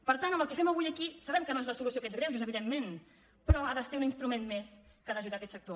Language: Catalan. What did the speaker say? per tant el que fem avui aquí sabem que no és la solució a aquests greuges evidentment però ha de ser un instrument més que ha d’ajudar aquest sector